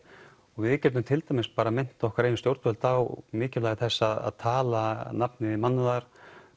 og við getum til dæmis minnt okkar eigin stjórnvöld á mikilvægi þess að tala nafni mannúðar